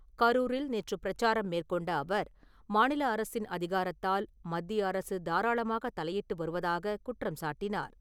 கரூரில் நேற்று பிரச்சாரம் மேற்கொண்ட அவர், மாநில அரசின் அதிகாரத்தில் மத்திய அரசு தாராளமாக தலையிட்டு வருவதாகக் குற்றம் சாட்டினார்.